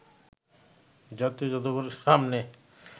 জাতীয় জাদুঘরের সামনে